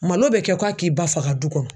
Malo bɛ kɛ ko a k'i ba faga du kɔnɔ